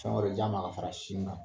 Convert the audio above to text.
Fɛn wɛrɛ di a ma ka fara sin kan.